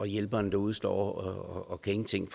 hjælperen derude står og ingenting